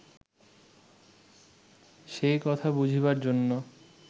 সেই কথা বুঝিবার জন্য